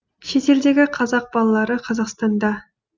шетелдегі қазақ балалары қазақстанда